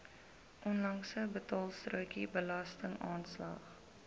onlangse betaalstrokie belastingaanslag